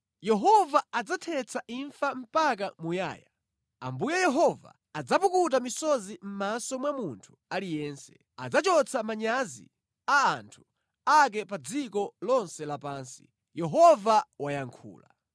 Yehova adzathetsa imfa mpaka muyaya, Ambuye Yehova adzapukuta misozi mʼmaso mwa munthu aliyense; adzachotsa manyazi a anthu ake pa dziko lonse lapansi, Yehova wayankhula.